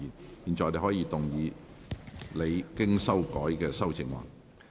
你現在可以動議你經修改的修正案。